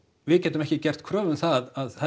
við getum ekki gert kröfu um það að